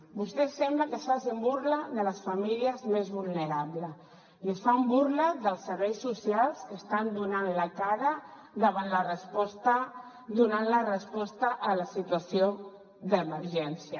vostès sembla que facin burla de les famílies més vulnerables i fan burla dels serveis socials que estan donant la cara donant la resposta a la situació d’emergència